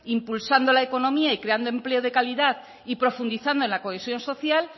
impulsando la economía y creando empleo de calidad y profundizando en la cohesión social